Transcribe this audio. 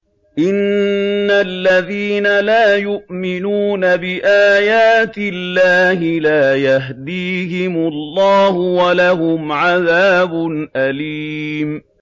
إِنَّ الَّذِينَ لَا يُؤْمِنُونَ بِآيَاتِ اللَّهِ لَا يَهْدِيهِمُ اللَّهُ وَلَهُمْ عَذَابٌ أَلِيمٌ